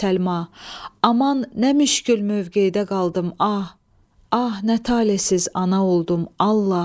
Səlma, aman nə müşkül mövqedə qaldım ah, ah nə talihsiz ana oldum, Allah!